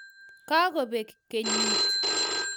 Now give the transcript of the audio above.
Kagobek kenyit